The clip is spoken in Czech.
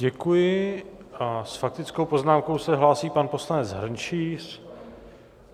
Děkuji a s faktickou poznámkou se hlásí pan poslanec Hrnčíř.